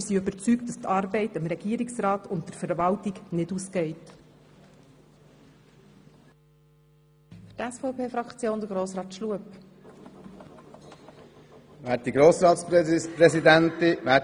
Wir sind überzeugt, dass dem Regierungsrat und der Verwaltung die Arbeit nicht ausgeht.